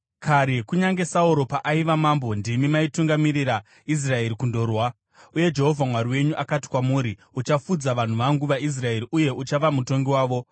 Kare kunyange Sauro paaiva mambo ndimi maitungamirira Israeri kundorwa. Uye Jehovha Mwari wenyu akati kwamuri, ‘Uchafudza vanhu vangu vaIsraeri uye uchava mutongi wavo.’ ”